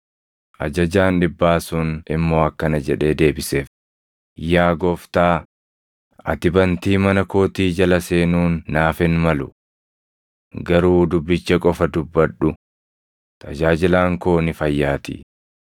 Ajajaan dhibbaa sun immoo akkana jedhee deebiseef; “Yaa Gooftaa, ati bantii mana kootii jala seenuun naaf hin malu. Garuu dubbicha qofa dubbadhu; tajaajilaan koo ni fayyaatii.